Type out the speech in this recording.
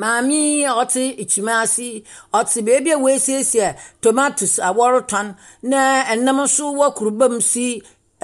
Maame yi a ɔtse ɛkyimm ase yi, ɔtse baabi a wɔasiesie ɛ tomatoes a wɔretɔn na ɛnam nso wɔ kurubam si